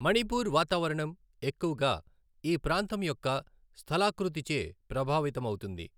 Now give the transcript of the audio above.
మణిపూర్ వాతావరణం ఎక్కువగా ఈ ప్రాంతం యొక్క స్థలాకృతిచే ప్రభావితమవుతుంది.